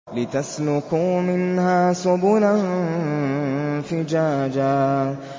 لِّتَسْلُكُوا مِنْهَا سُبُلًا فِجَاجًا